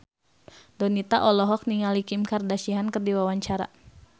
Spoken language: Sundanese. Donita olohok ningali Kim Kardashian keur diwawancara